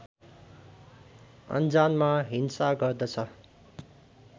अनजानमा हिंसा गर्दछ